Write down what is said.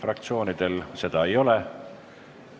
Fraktsioonidel seda ei ole.